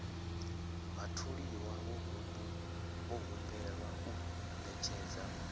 vhatholiwa vho humbelwa u ṅetshedza